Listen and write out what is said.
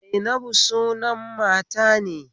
Zainabu sunan mata ne